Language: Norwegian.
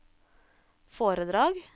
foredrag